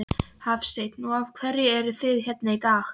Hafsteinn: Og af hverju eruð þið hérna í dag?